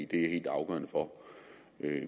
det er helt afgørende for